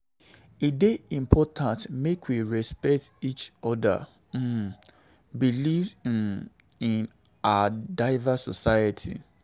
E dey important make we respect each oda um beliefs in um our diverse society.